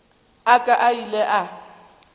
a ka a ile a